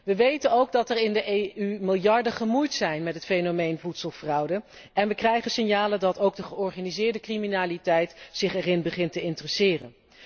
We weten ook dat er in de Europese Unie miljarden gemoeid zijn met het fenomeen voedselfraude en we krijgen signalen dat ook de georganiseerde criminaliteit zich ervoor begint te interesseren.